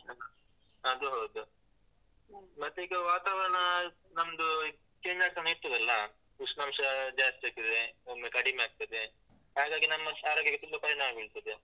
ಅದು ಹೌದು, ಮತ್ತೆ ಈಗ ವಾತಾವರಣ ನಮ್ದು change ಆಗ್ತನೇ ಇರ್ತದಲ್ಲ, ಉಷ್ಣಾಂಶ ಜಾಸ್ತಿ ಆಗ್ತದೆ, ಒಮ್ಮೆ ಕಡಿಮೆ ಆಗ್ತದೆ ಹಾಗಾಗಿ ನಮ್ಮ ಆರೋಗ್ಯಕ್ಕೆ ತುಂಬ ಪರಿಣಾಮ ಬೀಳ್ತದೆ.